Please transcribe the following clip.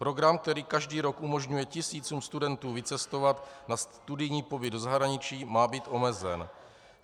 Program, který každý rok umožňuje tisícům studentů vycestovat na studijní pobyt do zahraničí, má být omezen.